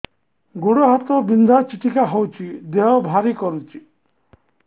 ଗୁଡ଼ ହାତ ବିନ୍ଧା ଛିଟିକା ହଉଚି ଦେହ ଭାରି କରୁଚି